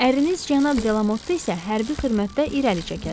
Əriniz cənab Delamotda isə hərbi xidmətdə irəli çəkərlər.